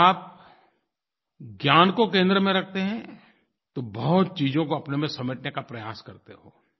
अगर आप ज्ञान को केंद्र में रखते हैं तो बहुत चीज़ों को अपने में समेटने का प्रयास करते हो